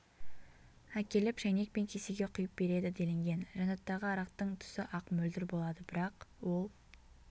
әкеліп шәйнек пен кесеге құйып береді делінген жәнаттағы арақтың түсі ақ мөлдір болады бірақ ол